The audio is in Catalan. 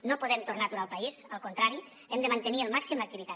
no podem tornar a aturar el país al contrari hem de mantenir al màxim l’activitat